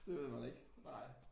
Det ved man ikke nej